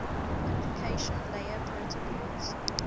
application layer protocols